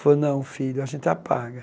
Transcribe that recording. Falou, não, filho, a gente apaga.